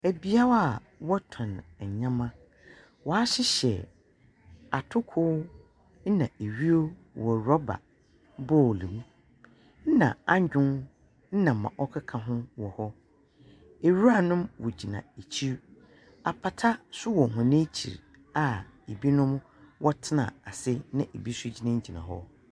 Ebiau a wɔtɔn ndɛma. Wahyihyɛ atuku nna ehwuo wɔ rɔba bol mu nna anyuu nna ma ɔkika hu wɔ hɔ. Ewuranom wogyina ekyi. Apata so wɔ wɔn ekyi a ebinom wɔtena asi na ebi so gyinagyina hɔ.